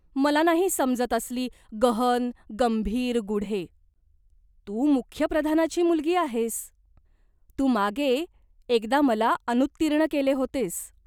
मला नाही समजत असली गहन गंभीर गूढे." "तू मुख्य प्रधानाची मुलगी आहेस. तू मागे एकदा मला अनुत्तीर्ण केले होतेस.